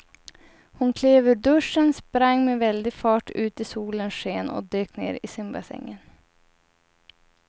Hon klev ur duschen, sprang med väldig fart ut i solens sken och dök ner i simbassängen.